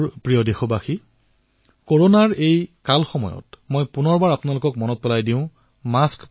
মোৰ মৰমৰ দেশবাসীসকল কৰোনাৰ এই সময়ছোৱাত মই পুনৰবাৰ আপোনালোকক স্মৰণ কৰাই দিবলৈ বিচাৰিছো